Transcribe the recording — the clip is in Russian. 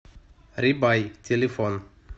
рибай телефон